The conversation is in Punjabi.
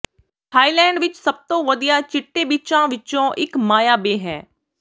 ਥਾਈਲੈਂਡ ਵਿਚ ਸਭ ਤੋਂ ਵਧੀਆ ਚਿੱਟੇ ਬੀਚਾਂ ਵਿਚੋਂ ਇਕ ਮਾਇਆ ਬੇਅ ਹੈ